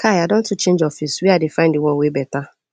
kai i don to change office were i dey find di one wey beta